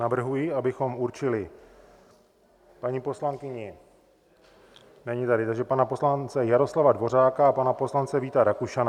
Navrhuji, abychom určili paní poslankyni - není tady - takže pana poslance Jaroslava Dvořáka a pana poslance Víta Rakušana.